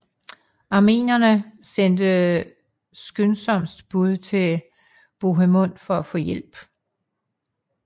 Armenerne sendte skyndsomst bud til Bohemund for at få hjælp